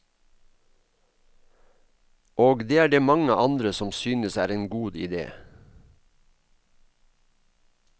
Og det er det mange andre som synes er en god idé.